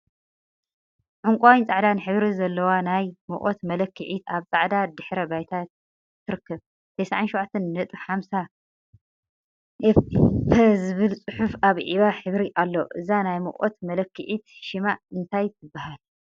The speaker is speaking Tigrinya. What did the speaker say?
ዕንቋይን ፃዕዳን ሕብሪ ዘለዋ ናይ ሙቀት መለክዒት አብ ፃዕዳ ድሕረ ባይታ ትርከብ፡፡ 97.50ፈ ዝብል ፅሑፍ አብ ዒባ ሕብሪ አሎ፡፡ እዛ ናይ ሙቀት መለክዒት ሽማ እንታይ ትበሃል?